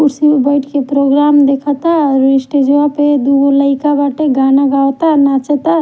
कुर्सी पर बैठ के प्रोग्राम देखता और स्टेज वा पर दू गो लाइका बाटे गाना गवाता नाचता--